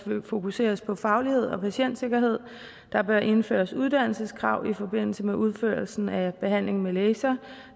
fokuseres på faglighed og patientsikkerhed at der bør indføres uddannelseskrav i forbindelse med udførelsen af behandlingen med laser